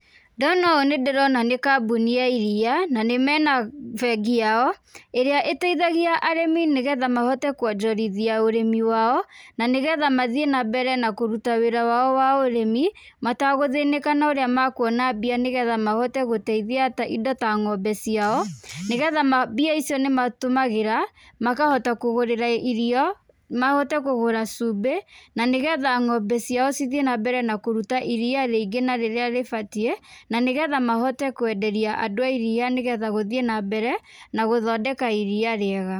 Ndona ũũ nĩndĩrona nĩ kambuni ya iria, na nĩ mena bengi yao ĩrĩa ĩteithagia arĩmi nĩgetha mahote kwonjorithia ũrĩmi wao, na nĩgetha mathiĩ na mbere na kũruta wĩra wao wa ũrĩmi, matagũthĩnĩka na ũrĩa makuona mbia nĩgetha mahote gũteithia ta indo ta ng'ombe ciao, nĩgetha, mbia icio nĩmatũmagĩra makahota kũgũrĩra irio, mahote kũgũra cumbĩ, na nĩgetha ng'ombe ciao cithiĩ na mbere na kũruta iria rĩingĩ na rĩrĩa ribatiĩ na nĩgetha mahote kwenderia andũ a iria nĩgetha gũthiĩ na mbere na gũthondeka iria rĩega.